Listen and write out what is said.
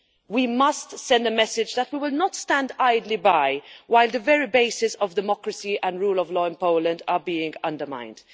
We must send a message that we will not stand idly by while the very bases of democracy and the rule of law in Poland are being undermined.